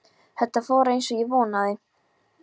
Þetta fór eins og ég vonaði